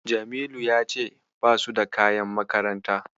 Jamilu ya ce basu da kayan makaranta.